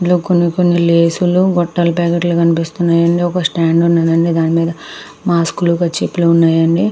ఇక్కడ కొన్ని లేస్ లు బుట్టల పాకెట్ లు కనిపిస్తున్నయి. ఒక స్టాండ్ ఉన్నదండి దాని మీద మాస్క్ లు కర్చీఫ్ లు ఉన్నాయండి.